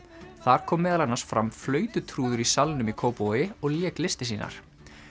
þar kom meðal annars fram í Salnum í Kópavogi og lék listir sínar